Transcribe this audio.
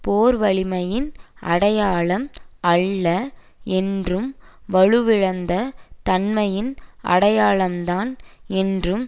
போர் வலிமையின் அடையாளம் அல்ல என்றும் வலுவிழந்த தன்மையின் அடையாளம்தான் என்றும்